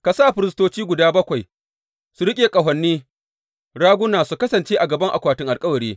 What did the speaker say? Ka sa firistoci guda bakwai su riƙe ƙahoni raguna su kasance a gaban akwatin alkawari.